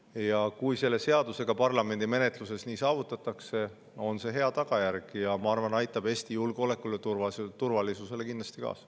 Ja kui selle seadusega parlamendi menetluses see saavutatakse, on see hea tagajärg, ja ma arvan, et see aitab Eesti julgeoleku ja turvalisuse kindlasti kaasa.